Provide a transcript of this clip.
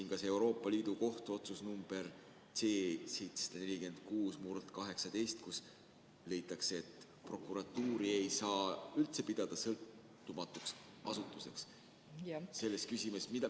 Ja ka see Euroopa Liidu Kohtu otsus nr C-746/18, kus leitakse, et prokuratuuri ei saa üldse pidada sõltumatuks asutuseks selles küsimuses.